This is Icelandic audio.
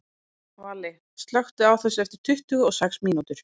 Valli, slökktu á þessu eftir tuttugu og sex mínútur.